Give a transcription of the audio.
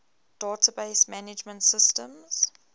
database management systems